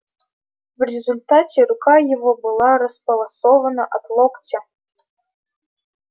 в результате рука его была располосована от локтя